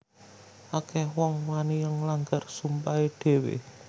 Akeh wong wani nglanggar sumpahe dhewe